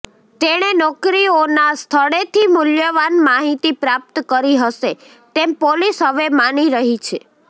તેણે નોકરીઓના સ્થળેથી મૂલ્યવાન માહિતી પ્રાપ્ત કરી હશે તેમ પોલીસ હવે માની રહી છે